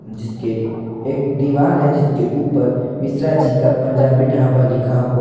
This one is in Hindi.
जिसके एक दीवाल है जिसके ऊपर मिश्रा जी का पंजाबी ढाबा लिखा हुआ--